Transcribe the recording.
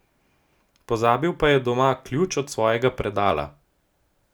Pozabil pa je doma ključ od svojega predala.